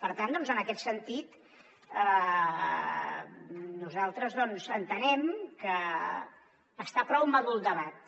per tant doncs en aquest sentit nosaltres entenem que està prou madur el debat